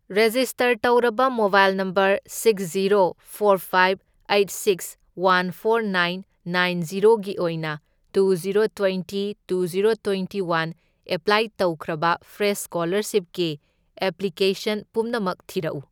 Register ꯇꯧꯔꯕ mobile number six, zero, four, five, eight, six one, four nine nine ꯖꯤꯔꯣꯒꯤ ꯑꯣꯏꯅ two zero twenty two zero twenty one apply ꯇꯧꯈ꯭ꯔꯥꯕ fresh ꯁ꯭ꯀꯣꯂꯔꯁꯤꯞꯀꯤ application ꯄꯨꯝꯅꯃꯛ ꯊꯤꯔꯛꯎ꯫